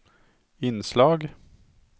inslag